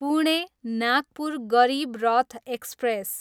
Pune, Nagpur Garib Rath express